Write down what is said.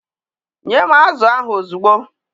Nye m azụ ahụ ozugbo!